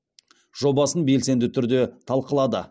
жобасын белсенді түрде талқылады